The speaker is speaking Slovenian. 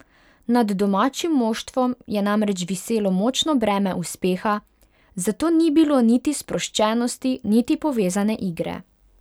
Nad domačim moštvom je namreč viselo močno breme uspeha, zato ni bilo niti sproščenosti niti povezane igre.